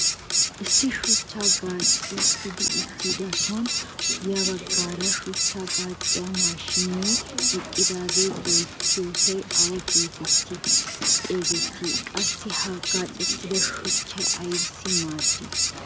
Issi shuchchay gaacettidi uttidosan ya baggaara shuchchaa gaacciyaa mashinee eqqidagee bettiyoosay awa getetti xeegettii? Qassi ha gaacettida shuchchay aybissi maaddii?